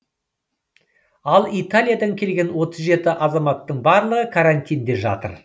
ал италиядан келген отыз жеті азаматтың барлығы карантинде жатыр